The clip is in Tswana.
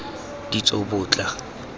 ditsobotla